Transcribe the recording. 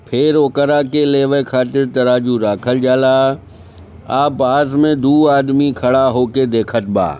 फिर ओकरा के लेवे खातिर तराजू रखल जाला औ पास में दू आदमी खड़ा होके देखत बा ।